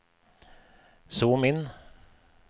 zoom inn